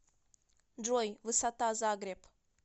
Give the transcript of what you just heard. джой высота загреб